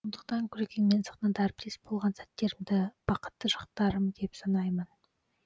сондықтан күлекеңмен сахнада әріптес болған сәттерімді бақытты шақтарым деп санаймын